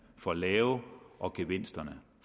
for lave og gevinsterne